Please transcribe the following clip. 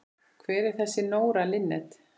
Hver er þessi Nóra Linnet?